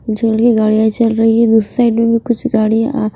चल रही की गाड़ियां चल रही है दूसरी साइड में भी कुछ गाड़ियां --